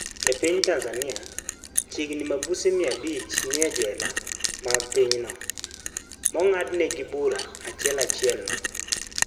E piny Tanzania, chiegni ni mabuse mia abich nie jela mag pinyno, mongadnegi bura ahiel achiel no..